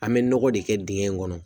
An bɛ nɔgɔ de kɛ dingɛ in kɔnɔ